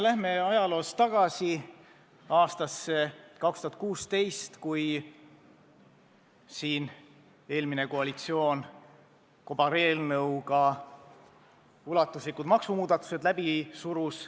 Läheme ajaloos tagasi aastasse 2016, kui eelmine koalitsioon kobareelnõuga ulatuslikud maksumuudatused läbi surus.